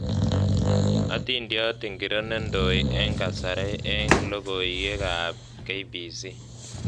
Adintiot ingiro nendoi eng kasarei eng logoieekab k.b.c